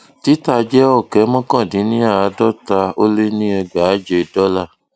títà jẹ ọkẹ mọkàndínníàádọta ó lé ní ẹgbàáje dọlà